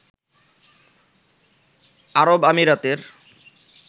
আরব আমিরাতের